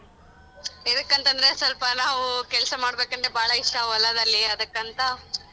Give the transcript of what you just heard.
ಎದಕ್ಕಂತಂದ್ರೆ ಸೊಲ್ಪ ನಾವು ಕೆಲ್ಸ ಮಾಡ್ಬೆಕಂದ್ರೆ ಬಾಳಾ ಇಷ್ಟ ಹೊಲದಲ್ಲಿ ಅದಕ್ಕಂತಾ.